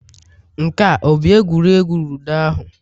Nke a ọ bụ egwuregwu ludo ahụ